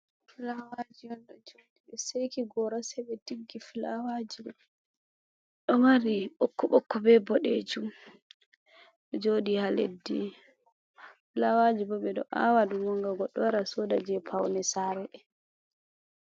Flawaji on ɗo jodi ɓe seki gora se ɓe tiggi filawaji bo ɗo mari bokk bokko be boɗejum, ɗo joɗi ha leddi lawaji ɓo ɓeɗo awadum ngam ɓeɗo wara soda je paune sare.